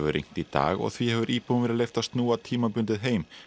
rignt í dag og því hefur íbúum verið leyft að snúa tímabundið heim